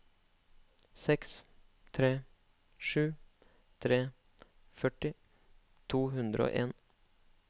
seks tre sju tre førti to hundre og en